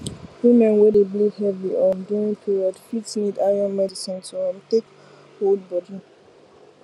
women wey dey bleed heavy um during period fit need iron medicine to um take hold body